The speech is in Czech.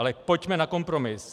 Ale pojďme na kompromis.